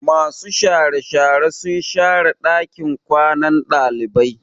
Masu share share sun share ɗakin kwanan ɗalibai.